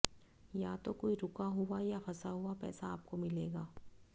या तो कोई रूका हुआ या फंसा हुआ पैसा आपको मिलेगा